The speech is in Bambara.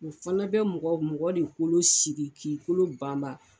U fana bɛ mɔgɔ mɔgɔ de kolo sigi k'i kolo banban